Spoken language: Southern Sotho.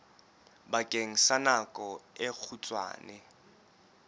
bakeng sa nako e kgutshwane